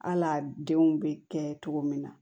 Hal'a denw bɛ kɛ cogo min na